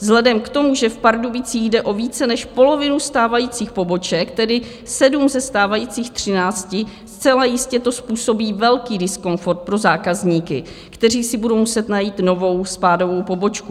Vzhledem k tomu, že v Pardubicích jde o více než polovinu stávajících poboček, tedy sedm ze stávajících třinácti, zcela jistě to způsobí velký diskomfort pro zákazníky, kteří si budou muset najít novou spádovou pobočku.